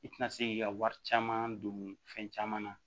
I tɛna se k'i ka wari caman don fɛn caman na